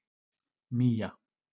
Mía